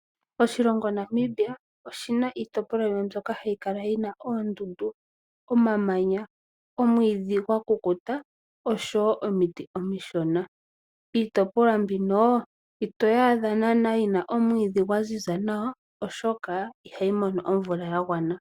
Oshilongo Namibia oshi na iitopolwa yimwe mbyoka hayi kala yina oondundu, omamamnya, omwiidhi gwa kukuta osho wo omiti omishona. Iitopolwa mbino, itoyi adha naana yina omwiidhi gwa ziza nawa oshoka ihayi mono omvula ya gwana.